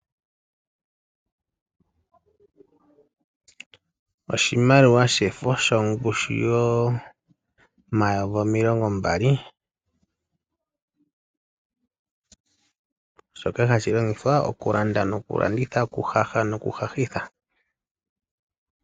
Oshimaliwa shefo shongushu yomayovi omilongo mbali shoka hashi longithwa okulanda nokulanditha, okuhaha nokuhahitha.